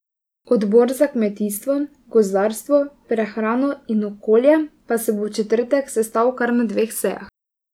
Odbor za kmetijstvo, gozdarstvo, prehrano in okolje pa se bo v četrtek sestal kar na dveh sejah.